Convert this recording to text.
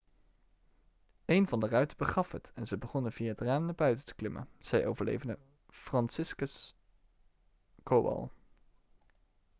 'een van de ruiten begaf het en ze begonnen via het raam naar buiten te klimmen,' zei overlevende franciszek kowal